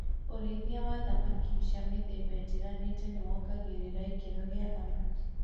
ũrĩithia wa thamaki cia mĩthemba ĩtiganĩte nĩwongagĩrĩra ikĩro gia thamaki